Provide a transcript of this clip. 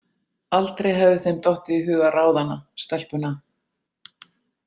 Aldrei hefði þeim dottið í hug að ráða hana, stelpuna.